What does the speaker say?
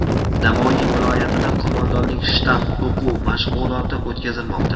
Navoiy viloyatida qo‘mondonlik-shtab o‘quv mashg‘uloti o‘tkazilmoqda.